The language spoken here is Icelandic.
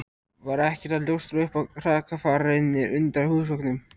Var ekkert að ljóstra upp um hrakfarirnar utan á húsveggnum.